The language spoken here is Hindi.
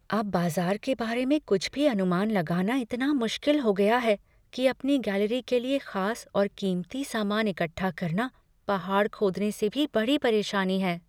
अब बाज़ार के बारे में कुछ भी अनुमान लगाना इतना मुश्किल हो गया है कि अपनी गैलरी के लिए खास और कीमती सामान इकट्ठा करना पहाड़ खोदने से भी बड़ी परेशानी है।